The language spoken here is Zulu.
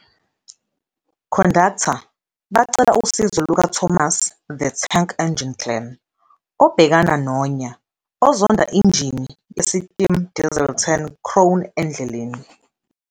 Conductor bacela usizo luka-Thomas the Tank Engine, Glen, obhekana nonya, ozonda injini yesitimu Diesel 10, Crone, endleleni.